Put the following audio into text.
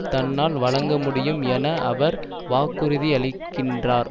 தன்னால் வழங்க முடியும் என அவர் வாக்குறுதியளிக்கின்றார்